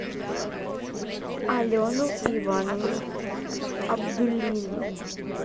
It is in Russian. алену ивановну абдуллину